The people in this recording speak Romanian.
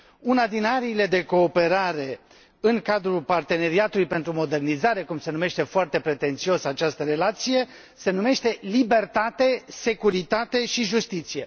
Una din ariile de cooperare în cadrul parteneriatului pentru modernizare, cum se numește, foarte pretențios, această relație, se numește libertate, securitate și justiție.